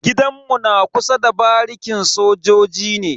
Gidan mu na kusa da barikin sojoji ne.